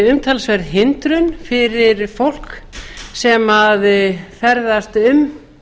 umtalsverð hindrun fyrir fólk sem ferðast um